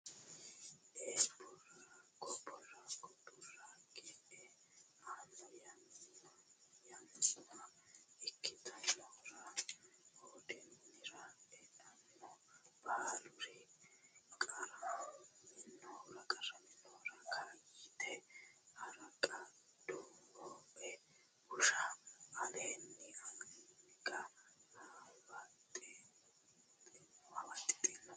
e Boorago Boorago e anno yanna ikkitinohura hoode minira eanni baaluri qarraminohura Kaayyite Harqa dawoe bushshu aleenni anga hawaaxxeenna sai !